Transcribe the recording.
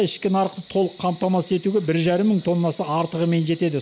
ішкі нарықты толық қамтамасыз етуге бір жарым мың тоннасы артығымен жетеді